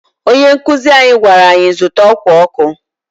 Ónyé nkuzi anyị gwara anyị zụta ọkwá ọkụ.